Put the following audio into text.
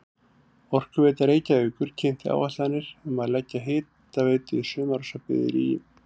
Orkuveita Reykjavíkur kynnti áætlanir um að leggja hitaveitu í sumarhúsabyggðir í